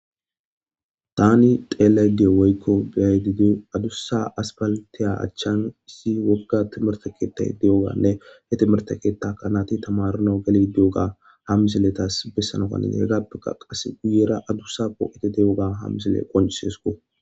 tani xeelay diyo woykko beyay didi adussa aspaltiya achchan issi wogga timertakeettah de7oganne he timertakeetta kanati tamaruno gali de7oga ha misiletas bessano kanin heggappekka qase guyera adussa poo7ete deoga ha misile qoncisesko